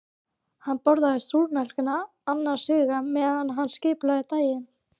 Hann borðaði súrmjólkina annars hugar meðan hann skipulagði daginn.